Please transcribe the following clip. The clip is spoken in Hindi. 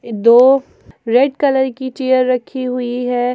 दो रेड कलर की चेयर रखी हुई है।